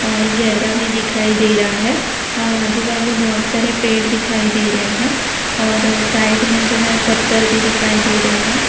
और गहरा भी दिखाई दे रहा है और आजू बाजू बहुत सारे पेड़ दिखाई दे रहे हैं और साइड में जो है पत्थर भी दिखाई दे रहे हैं।